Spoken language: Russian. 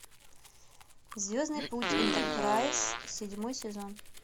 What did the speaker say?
звездный путь энтерпрайз седьмой сезон